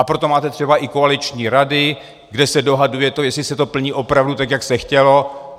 A proto máte třeba i koaliční rady, kde se dohaduje to, jestli se to plní opravdu tak, jak se chtělo.